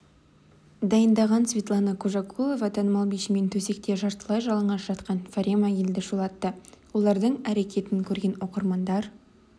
дайындаған светлана кужакулова танымал бишімен төсекте жартылай жалаңаш жатқан фарема елді шулатты олардың әрекетін көрген оқырмандар